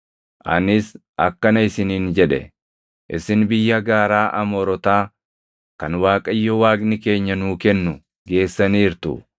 Anis akkana isiniin jedhe; “Isin biyya gaaraa Amoorotaa kan Waaqayyo Waaqni keenya nuu kennu geessaniirtu.